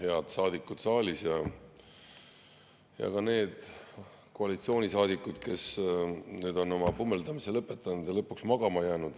Head saadikud saalis ja ka need koalitsioonisaadikud, kes nüüd on oma pummeldamise lõpetanud ja lõpuks magama jäänud!